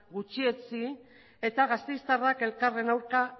gutxietsi eta gasteiztarrak elkarren aurka